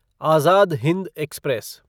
Azad Hind express